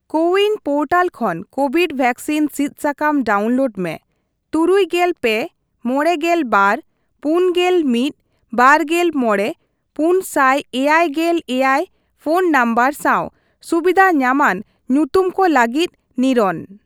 CoWIN portal ᱠᱷᱚᱱ Covid vaccine ᱥᱤᱫ ᱥᱟᱠᱟᱢ ᱰᱟᱣᱩᱱᱞᱳᱰ ᱢᱮ ᱛᱩᱨᱩᱭ ᱜᱮᱞ ᱯᱮ, ᱢᱚᱲᱮ ᱜᱮᱞ ᱵᱟᱨ, ᱯᱩᱱ ᱜᱮᱞ ᱢᱤᱛ, ᱵᱟᱨᱜᱮᱞ ᱢᱚᱲᱮ, ᱯᱩᱱ ᱥᱟᱭ ᱮᱭᱟᱭ ᱜᱮᱞ ᱮᱭᱟᱭ ᱯᱷᱚᱱ ᱱᱚᱢᱵᱚᱨ ᱥᱟᱣ ᱥᱩᱵᱤᱫᱷ ᱧᱟᱢᱟᱱ ᱧᱩᱛᱩᱢ ᱠᱚ ᱞᱟᱹᱜᱤᱫ ᱱᱤᱨᱚᱱ ᱾